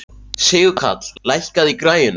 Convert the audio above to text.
Sigurkarl, lækkaðu í græjunum.